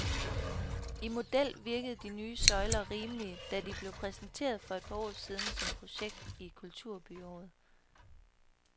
I model virkede de nye søjler rimelige, da de blev præsenteret for et par år siden som projekt til kulturbyåret.